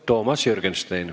Toomas Jürgenstein.